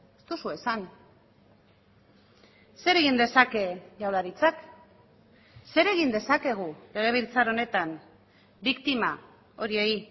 ez duzue esan zer egin dezake jaurlaritzak zer egin dezakegu legebiltzar honetan biktima horiei